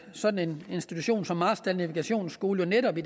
sådan en institution som marstal navigationsskole netop i